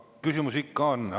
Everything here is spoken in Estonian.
Küsimusi ikka on.